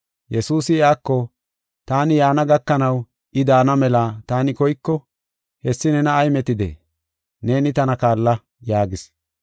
Yesuusi iyako, “Taani yaana gakanaw I daana mela taani koyko, hessi nena ay metidee? Neeni tana kaalla” yaagis.